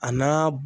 A n'a